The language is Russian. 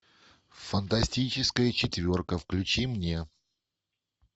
фантастическая четверка включи мне